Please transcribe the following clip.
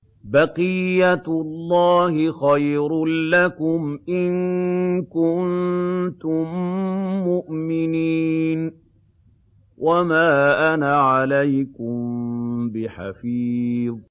بَقِيَّتُ اللَّهِ خَيْرٌ لَّكُمْ إِن كُنتُم مُّؤْمِنِينَ ۚ وَمَا أَنَا عَلَيْكُم بِحَفِيظٍ